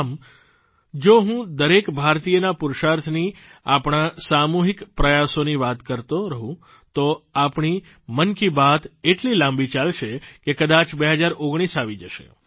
આમ જો હું દરેક ભારતીયના પુરૂષાર્થની આપણા સામૂહિક પ્રયાસોની વાતો કરતો રહું તો આપણી મન કી બાત એટલી લાંબી ચાલશે કે કદાચ 2019 આવી જશે